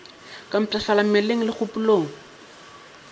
ke mpshafala mmeleng le kgopolong